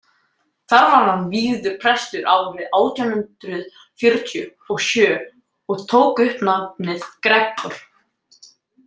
Þar var hann vígður prestur árið átján hundrað fjörutíu og sjö og tók upp nafnið Gregor.